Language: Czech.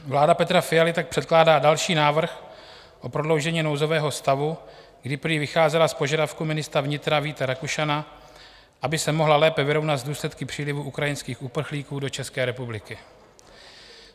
Vláda Petra Fialy tak předkládá další návrh o prodloužení nouzového stavu, kdy prý vycházela z požadavku ministra vnitra Víta Rakušana, aby se mohla lépe vyrovnat s důsledky přílivu ukrajinských uprchlíků do České republiky.